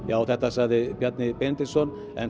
þetta sagði Bjarni Benediktsson en